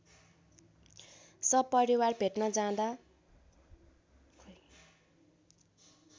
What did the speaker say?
सपरिवार भेट्न जाँदा